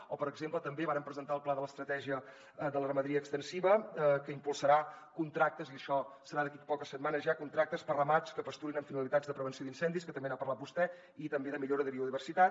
o per exemple també vàrem presentar el pla de l’estratègia de la ramaderia extensiva que impulsarà contractes i això serà d’aquí a poques setmanes ja per ramats que pasturin amb finalitats de prevenció d’incendis que també n’ha parlat vostè i també de millora de biodiversitat